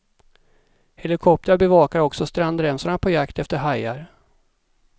Helikoptrar bevakar också strandremsorna på jakt efter hajar.